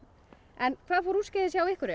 en hvað fór úrskeiðis hjá ykkur